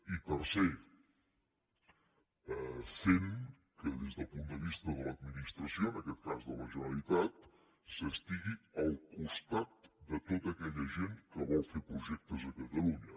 i tercer fent que des del punt de vista de l’administració en aquest cas de la generalitat s’estigui al costat de tota aquella gent que vol fer projectes a catalunya